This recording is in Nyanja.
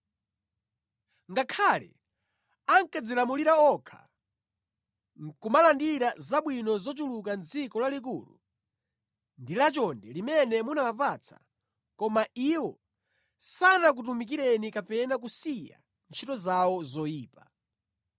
Ngakhale ankadzilamulira okha, nʼkumalandira zabwino zochuluka mʼdziko lalikulu ndi lachonde limene munawapatsa, koma iwo sanakutumikireni kapena kusiya ntchito zawo zoyipa.